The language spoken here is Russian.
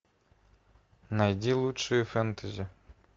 найди лучшие фэнтези